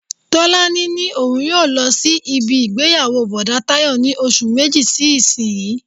Tọ́lání ní òun yóò lọ sí ibi ìgbéyàwó Bọ̀dá Tayọ ní oṣù méjì sí isiyi.